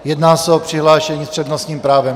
Jedná se o přihlášení s přednostním právem.